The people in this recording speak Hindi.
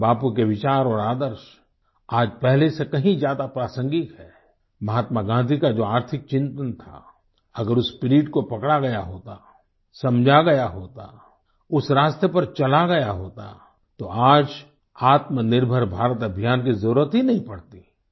पूज्य बापू के विचार और आदर्श आज पहले से कहीं ज्यादा प्रासंगिक हैं महात्मा गाँधी का जो आर्थिक चिन्तन था अगर उस स्पिरिट को पकड़ा गया होता समझा गया होता उस रास्ते पर चला गया होता तो आज आत्मनिर्भर भारत अभियान की जरूरत ही नहीं पड़ती